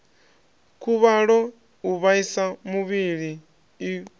khuvhalo u vhaisa muvhili u